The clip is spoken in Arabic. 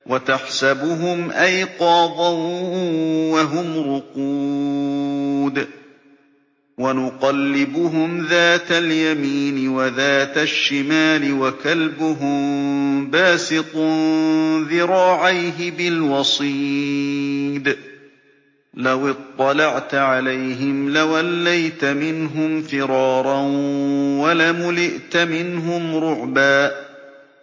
وَتَحْسَبُهُمْ أَيْقَاظًا وَهُمْ رُقُودٌ ۚ وَنُقَلِّبُهُمْ ذَاتَ الْيَمِينِ وَذَاتَ الشِّمَالِ ۖ وَكَلْبُهُم بَاسِطٌ ذِرَاعَيْهِ بِالْوَصِيدِ ۚ لَوِ اطَّلَعْتَ عَلَيْهِمْ لَوَلَّيْتَ مِنْهُمْ فِرَارًا وَلَمُلِئْتَ مِنْهُمْ رُعْبًا